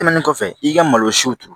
Tɛmɛnen kɔfɛ i ka malosiw turu